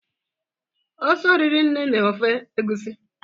ose oriri nee na ofe egusi?